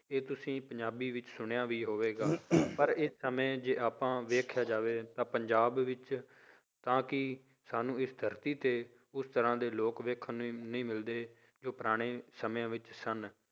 ਇਹ ਤੁਸੀਂ ਪੰਜਾਬੀ ਵਿੱਚ ਸੁਣਿਆ ਵੀ ਹੋਵੇਗਾ ਪਰ ਇਸ ਸਮੇਂ ਜੇ ਆਪਾਂ ਵੇਖਿਆ ਜਾਵੇ ਤਾਂ ਪੰਜਾਬ ਵਿੱਚ ਤਾਂ ਕੀ ਸਾਨੂੰ ਇਸ ਧਰਤੀ ਤੇ ਉਸ ਤਰ੍ਹਾਂ ਦੇ ਲੋਕ ਵੇਖਣ ਨੂੰ ਨਹੀਂ ਮਿਲਦੇ ਜੋ ਪੁਰਾਣੇ ਸਮਿਆਂ ਵਿੱਚ ਸਨ।